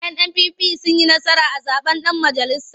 NNPP sun yi nasara a zaɓen ɗan majalisa.